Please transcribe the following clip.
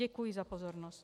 Děkuji za pozornost.